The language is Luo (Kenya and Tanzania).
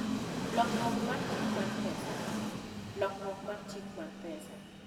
Lokruok mar Chik mar Pesa: Lokruok mar chik mar pesa.